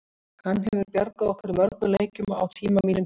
Hann hefur bjargað okkur í mörgum leikjum á tíma mínum hér.